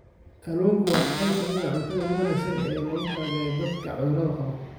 Kalluunku waa qayb ka mid ah cuntada ugu wanaagsan ee loogu talagalay dadka cudurrada qaba.